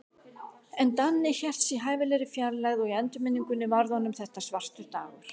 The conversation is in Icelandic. En Danni hélt sig í hæfilegri fjarlægð, og í endurminningunni varð honum þetta svartur dagur.